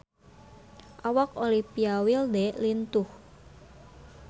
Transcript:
Awak Olivia Wilde lintuh